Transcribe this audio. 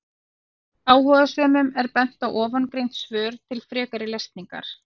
Áhugasömum er bent á ofangreind svör til frekari lesningar.